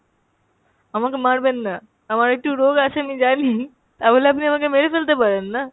আমাকে মারবেন না, আমার একটু রোগ আছে আমি জানি, তাবলে আপনি আমাকে মেরে ফেলতে পারেন না।